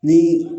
Ni